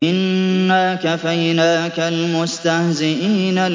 إِنَّا كَفَيْنَاكَ الْمُسْتَهْزِئِينَ